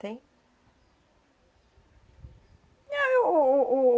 Tem? Não o... O